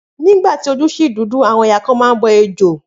Ni ìgbà tí ojú ṣì dúdú, àwọn ẹ̀yà kan a máa bọ ejò